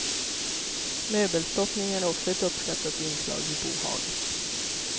Möbelstoppning är också ett uppskattat inslag i bohaget.